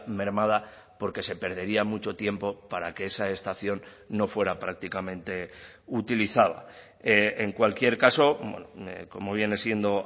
mermada porque se perdería mucho tiempo para que esa estación no fuera prácticamente utilizada en cualquier caso como viene siendo